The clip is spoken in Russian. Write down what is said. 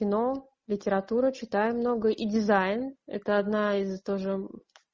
кино литература читаю много и дизайн это одна из тоже